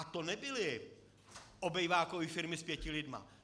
A to nebyly obývákové firmy s pěti lidmi.